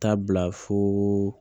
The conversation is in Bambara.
Taa bila fo